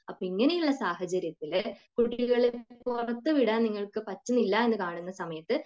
അപ്പോ ഇങ്ങനെയുള്ള സാഹചര്യത്തിൽ കുട്ടികളെ പുറത്തുവിടാൻ നിങ്ങൾക്ക് പറ്റുന്നില്ല എന്ന് കാണുന്ന സമയത്തു